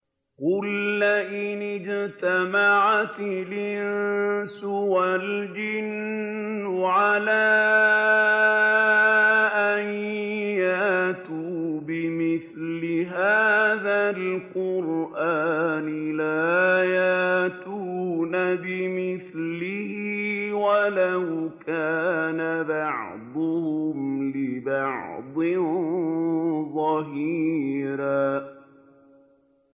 قُل لَّئِنِ اجْتَمَعَتِ الْإِنسُ وَالْجِنُّ عَلَىٰ أَن يَأْتُوا بِمِثْلِ هَٰذَا الْقُرْآنِ لَا يَأْتُونَ بِمِثْلِهِ وَلَوْ كَانَ بَعْضُهُمْ لِبَعْضٍ ظَهِيرًا